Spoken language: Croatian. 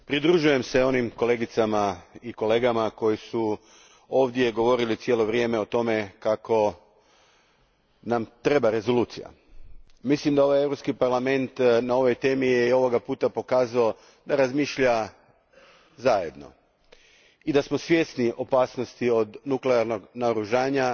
Gospodine predsjedniče, pridružujem se onim kolegicama i kolegama koji su ovdje govorili cijelo vrijeme o tome kako nam treba rezolucija. Mislim da ovaj Europski parlament na ovoj temi je, i ovoga puta, pokazao da razmišlja zajedno i da smo svjesni opasnosti od nuklearnog naoružanja.